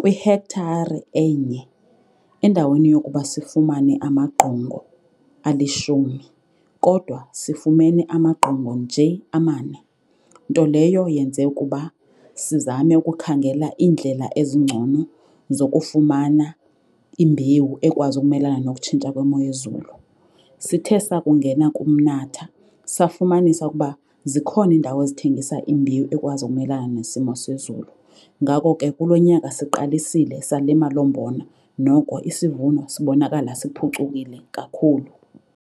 Kwihekthare enye endaweni yokuba sifumane amagqongo alishumi kodwa sifumene amagqongo nje amane, nto leyo yenze ukuba sizame ukukhangela iindlela ezingcono zokufumana imbewu ekwazi ukumelana nokutshintsha kwemo yezulu. Sithe sakungena kumnatha safumanisa ukuba zikhona iindawo ezithengisa imbewu ekwazi umelana nesimo sezulu. Ngako ke kulo nyaka siqalisile salima loo mbona, noko isivuno sibonakala siphucukile kakhulu.